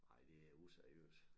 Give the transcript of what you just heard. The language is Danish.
Ej det er useriøst